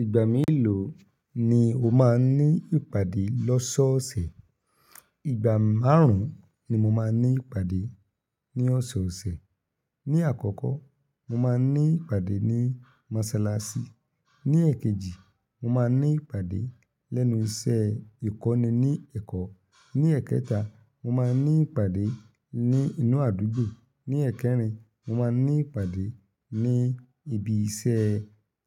Ìgbà mélòó ni o máa n ní ìpàdé lọ́sọ̀ọ̀sẹ̀? Ìgbà márùn-ún ni mo máa ní ìpàdé ní ọ̀sọ̀ọ̀sẹ̀. Ní àkọ́kọ́, mo máa ní ìpàdé ní mọ́sálásí. Ní èkejì, mo máa ní ìpàdé lẹ́nu iṣẹ́ ìkọ́ni ní Ẹ̀kọ́. Ní ẹ́kẹta, mo máa ní ìpàdé ní inú àdúgbò. Ní ẹ́kẹrin, mo máa ní ìpàdé ní ibi iṣẹ́